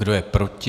Kdo je proti?